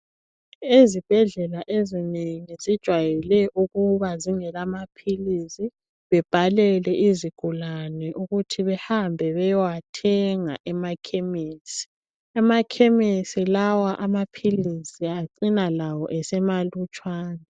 Ezibhedlela ezinengi zijwayele ukuba zingela maphilisi, bebhalele izigulani ukuthi behambe beyewathenga emakhemisi. Emakhemisi lawa lawo amaphilisi acina esemalutshwane .